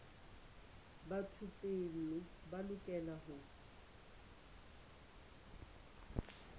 ba thupelo ba lokela ho